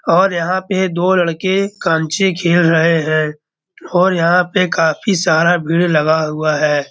और यहाँ पे दो लड़के कंचे खेल रहे हैं और यहाँ पे काफ़ी सारा भीड़ लगा हुआ है।